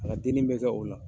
A ka denni bɛ kɛ o la.